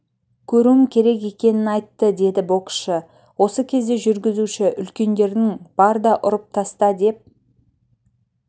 көруім керек екенін айтты деді боксшы осы кезде жүргізуші үлкендердің бар да ұрып таста деп